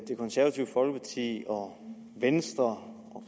det konservative folkeparti og venstre